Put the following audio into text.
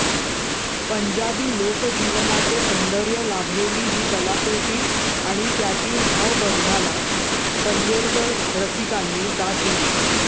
पंजाबी लोकजीवनाचे सौंदर्य लाभलेली ही कलाकृती आणि त्यातील भावबंधाला पनवेलकर रसिकांनी दाद दिली